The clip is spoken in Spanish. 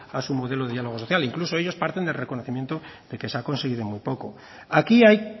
a su modelo de diálogo social incluso ellos partes del reconocimiento de que se ha conseguido muy poco aquí hay